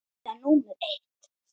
Eyða númer eitt.